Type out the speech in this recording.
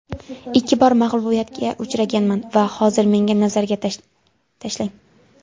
Ikki bor mag‘lubiyatga uchraganman va hozir menga nazarga tashlang.